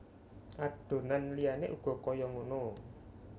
Adonan liyane uga kaya ngono